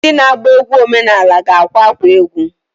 Ndị na-agba egwu omenanị ga-akwa akwa egwu.